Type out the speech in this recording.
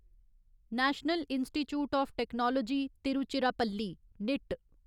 national institute of technology Tiruchirappalli knit